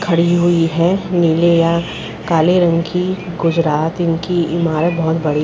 खड़ी हुई है नीले या काले रंग की गुजरात इनकी ईमारत बोहोत बड़ी है।